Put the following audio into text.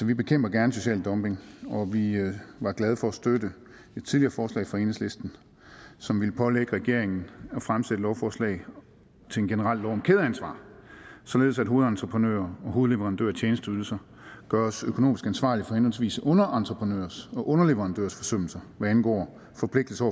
vi bekæmper gerne social dumping og vi vi var glade for at støtte et tidligere forslag fra enhedslisten som ville pålægge regeringen at fremsætte lovforslag til en generel lov om kædeansvar således at hovedentreprenører og hovedleverandører af tjenesteydelser gøres økonomisk ansvarlige for henholdsvis underentreprenørers og underleverandørers forsømmelser hvad angår forpligtelser